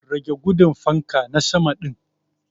Rage gudun fanka na sama din.